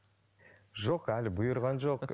жоқ әлі бұйырған жоқ